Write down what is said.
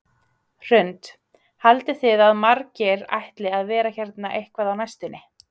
Hrund: Haldið þið að margir ætli að vera hérna eitthvað á næstunni?